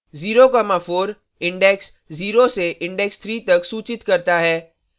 04 index 0 से index 3 तक सूचित करता है